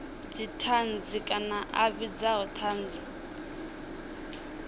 dzithanzi kana a vhidza thanzi